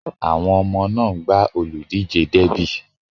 Àwọn ọmọ náà ń gbá olùdíje derby.